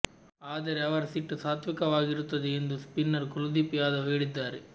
ಆದರೆ ಅವರ ಸಿಟ್ಟು ಸಾತ್ವಿಕವಾಗಿರುತ್ತದೆ ಎಂದು ಸ್ಪಿನ್ನರ್ ಕುಲದೀಪ್ ಯಾದವ್ ಹೇಳಿದ್ದಾರೆ